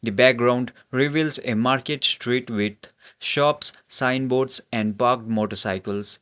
the background reveals a market street with shops signboards and parked motor cycles.